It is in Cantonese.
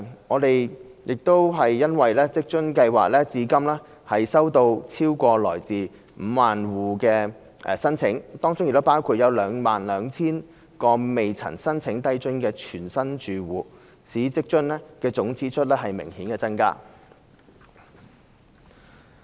我們欣悉職津計劃至今收到來自超過 50,000 個住戶的申請，當中包括約 22,000 個從未申請低津的全新住戶，使職津的總支出顯著增加。